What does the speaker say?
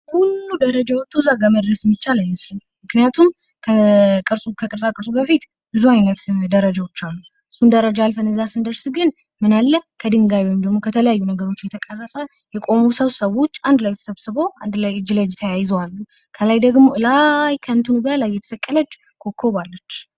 ሁሉንም ደረጃ ወጦ ከዚያ ጋር መድረስ የሚቻል አይመስልም ምክንያቱም ከመድረሱ በፊት ብዙ አይነት ደረጃዎች አሉ። ሁሉንም ደረጃ አልፈን ከዚያ ስንደርስ ግን ምን አለ ከደንጋዩ ከተለያዩ ነገሮች የቆመ ምሰሶ ሰዎች አንድ ላይ ተሰብሰበው አንድ ላይ እጅ ለእጅ ታያይዘው አሉ። ከላይ ደግሞ ከላይ ከእንትኑ ላይ የተሰቀለች ኮከብ አለች።